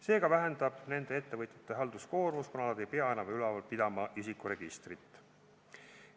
See vähendab nende ettevõtjate halduskoormust, kuna nad ei pea enam üleval pidama isikuregistrit.